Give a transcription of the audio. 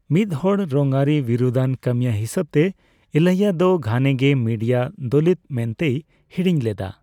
ᱢᱤᱫᱦᱚᱲ ᱨᱚᱝᱟᱹᱨᱤ ᱵᱤᱨᱩᱫᱽᱟᱱ ᱠᱟᱹᱢᱤᱭᱟᱹ ᱦᱤᱥᱟᱹᱵᱛᱮ, ᱤᱞᱟᱭᱭᱟ ᱫᱚ ᱜᱷᱟᱱᱮ ᱜᱮ ᱢᱤᱰᱤᱭᱟ ᱫᱚᱞᱤᱛ ᱢᱮᱱᱛᱮᱭ ᱦᱤᱲᱤᱧ ᱞᱮᱫᱟ ᱾